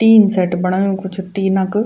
Tin shed बणायु कुछ tin क।